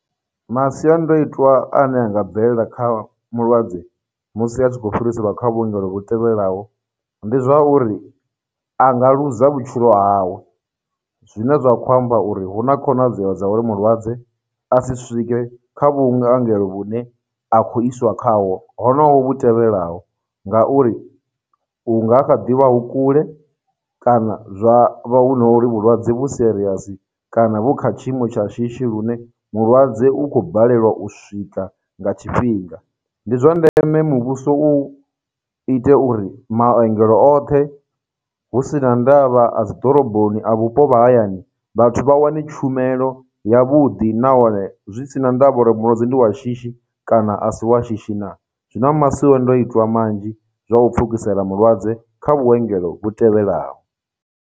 Masiandoitwa ane a nga bvelela kha mulwadze musi a tshi khou fhiriselwa kha vhuongelo hu tevhelaho ndi zwa uri a nga ḽuza vhutshilo hawe, zwine zwa khou amba uri huna khonadzeo dza uri mulwadze a si swike kha vhuongelo vhu ne a khou iswa khaho honoho vhu tevhelaho ngauri, hu nga kha ḓivha hu kule, kana zwa hu no uri vhulwadze vhu serious, kana vhu kha tshiimo tsha shishi lune mulwadze u khou balelwa u swika nga tshifhinga. Ndi zwa ndeme muvhuso u ite uri maongelo oṱhe husina ndavha a dzidoroboni, a vhupo vha hayani, vhathu vha wane tshumelo ya vhuḓi nahone zwi si na ndavha uri mulwadze ndi wa shishi kana asi wa shishi na. Zwi na masiandoitwa manzhi zwa u pfukisela mulwadze kha vhuengelo vhu tevhelaho.